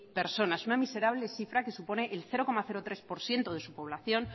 personas una miserable cifra que supone el cero coma tres por ciento de su población